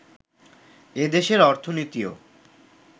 এ দেশের অর্থনীতিও